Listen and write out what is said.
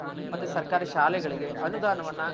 ಮತ್ತೆ ಸರ್ಕಾರಿ ಶಾಲೆಗಳ್ಗೆ ಅನುದಾನವನ್ನ